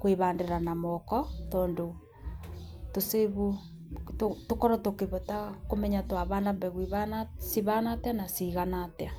kwĩbandĩra na moko tondũ tũkorwo tũkĩbota kũmenya, twabanda mbegũ ibana atĩa na cigana atĩa.